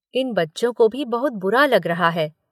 इन बच्चों को भी बहुत बुरा लग रहा है।